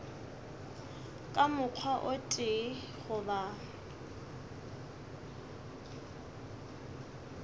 ka mokgwa o tee goba